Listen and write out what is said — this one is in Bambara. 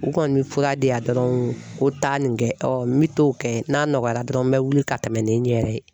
U kɔni mɛ fura di yan dɔrɔn ko taa nin kɛ n mi t'o kɛ n'a nɔgɔyara dɔrɔn n bɛ wuli ka tɛmɛ ni n yɛrɛ ye.